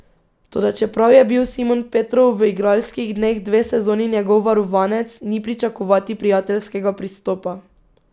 Toda čeprav je bil Simon Petrov v igralskih dneh dve sezoni njegov varovanec, ni pričakovati prijateljskega pristopa.